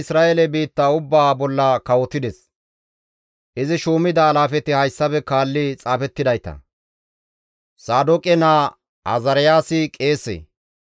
Izi shuumida alaafeti hayssafe kaalli xaafettidayta. Saadooqe naa Azaariyaasi qeese.